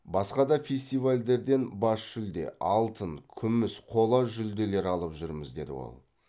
басқа да фестивальдерден бас жүлде алтын күміс қола жүлделер алып жүрміз деді ол